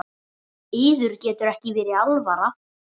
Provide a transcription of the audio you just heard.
Yður getur ekki verið alvara?